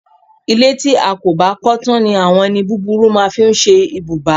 Ilé tí a ò bá kó̩ tán ni àwo̩n e̩ni búburú máa ń fí s̩e ibùbá